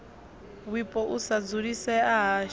wipo u sa dzulisea hashu